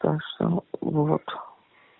так что вот